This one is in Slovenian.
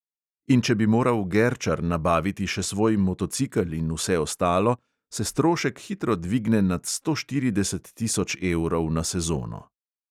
In če bi moral gerčar nabaviti še svoj motocikel in vse ostalo, se strošek hitro dvigne nad sto štirideset tisoč evrov na sezono.